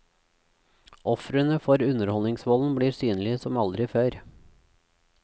Ofrene for underholdningsvolden blir synlige som aldri før.